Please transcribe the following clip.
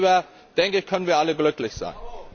Und darüber, denke ich, können wir alle glücklich sein.